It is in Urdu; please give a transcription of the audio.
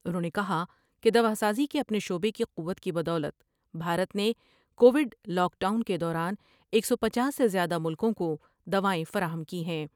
انھوں نے کہا کہ دواسازی کے اپنے شعبے کی قوت کی بدولت بھارت نے کو وڈلاک ڈاؤن کے دوران ایک سو پنچاس سے زیادہ ملکوں کو دوائیں فراہم کی ہیں ۔